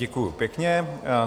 Děkuji pěkně.